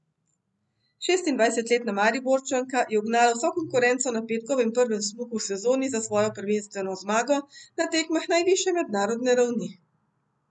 Šestindvajsetletna Mariborčanka je ugnala vso konkurenco na petkovem prvem smuku v sezoni za svojo prvenstveno zmago na tekmah najvišje mednarodne ravni.